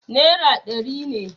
naira ɗari ne